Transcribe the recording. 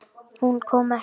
Hún kom ekki.